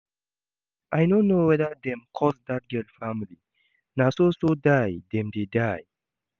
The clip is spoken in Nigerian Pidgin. I no know whether dem curse dat girl family, na so so die dem dey die